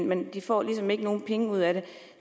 men de får ligesom ikke nogen penge ud af det